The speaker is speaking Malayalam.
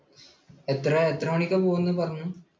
എത്രഎത്ര മണിക്കാണ് പോന്നത് എന്നാണ് പറഞ്ഞത്?